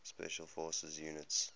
special forces units